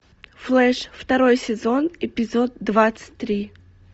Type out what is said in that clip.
флэш второй сезон эпизод двадцать три